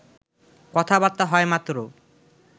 কথাবার্তা হয় মাত্র